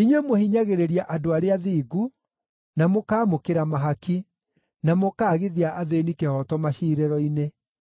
Inyuĩ mũhinyagĩrĩria andũ arĩa athingu, na mũkaamũkĩra mahaki, na mũkaagithia athĩĩni kĩhooto maciirĩro-inĩ.